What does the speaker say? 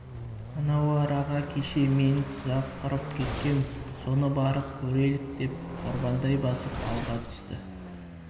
анау араға кеше мен тұзақ құрып кеткем соны барып көрелік деп қорбаңдай басып алға түсті